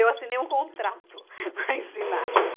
Eu assinei um contrato para ensinar.